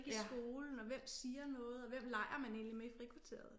I skolen og hvem siger noget og hvem leger man egentlig med i frikvarteret